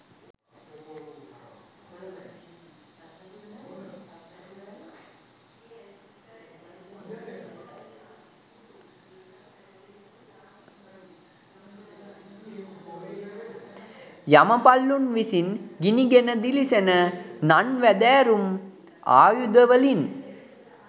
යමපලුන් විසින් ගිනිගෙන දිලිසෙන නන් වැදෑරුම් ආයුධ වලින්